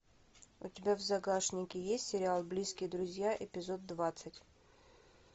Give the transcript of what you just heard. у тебя в загашнике есть сериал близкие друзья эпизод двадцать